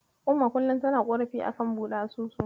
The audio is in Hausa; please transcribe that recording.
Umma kullum tana ƙorafi a kan buɗe asusu.